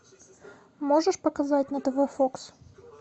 можешь показать на тв фокс